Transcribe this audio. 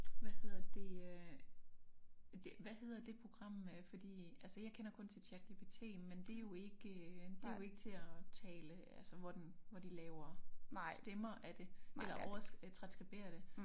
Hvad hedder det øh det hvad hedder det program? Øh fordi altså jeg kender kun til ChatGPT men det jo ikke det jo ikke til at tale altså hvor den hvor de laver stemmer af det eller over øh transskriberer det